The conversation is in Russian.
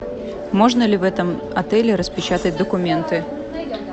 можно ли в этом отеле распечатать документы